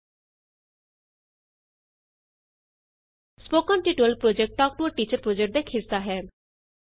spoken tutorial project talk to a teacher project ਦਾ ਇਕ ਹਿੱਸਾ ਹੈ